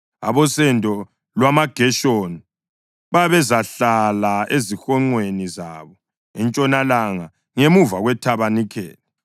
Abosendo lwamaGeshoni babezahlala ezihonqweni zabo entshonalanga, ngemuva kwethabanikeli.